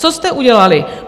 Co jste udělali?